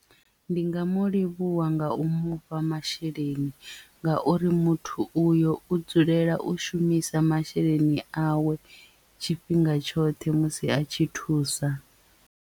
Ndi nga mu livhuwa nga u mufha masheleni ngauri muthu uyo u dzulela u shumisa masheleni awe tshifhinga tshoṱhe musi a tshi thusa.